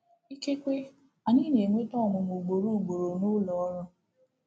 Ikekwe anyị na-enweta ọnwụnwa ugboro ugboro n’ụlọ ọrụ.